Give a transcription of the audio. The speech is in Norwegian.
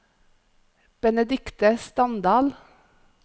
Benedikte Standal